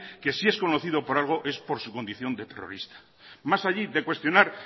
que si es conocido por algo es por su condición de terrorista más allí de cuestionar